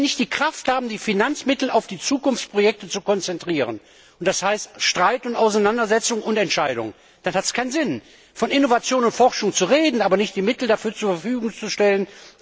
Wenn wir nicht die Kraft haben, die Finanzmittel auf die Zukunftsprojekte zu konzentrieren und das heißt Streit und Auseinandersetzung und Entscheidung dann hat es keinen Sinn, von Innovation und Forschung zu reden, aber die Mittel dafür nicht zur Verfügung zu stellen.